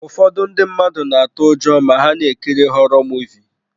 Ụfọdụ ndị mmadụ na-atụ ụjọ ma ha na-ekiri họrọ Muvịị.